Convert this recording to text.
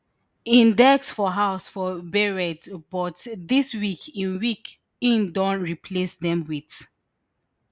im desk for house for beirut but dis week im week im don replace dem wit